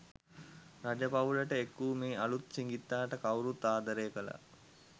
රජ පවුලට එක් වූ මේ අලූත් සිඟිත්තාට කවුරුත් ආදරය කළා.